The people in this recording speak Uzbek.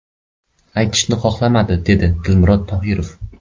Aytishni xohlamadi”, dedi Dilmurod Tohirov.